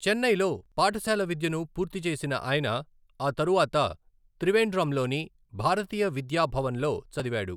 చెన్నైలో పాఠశాల విద్యను పూర్తి చేసిన ఆయన ఆ తరువాత త్రివేండ్రంలోని భారతీయ విద్యా భవన్లో చదివాడు.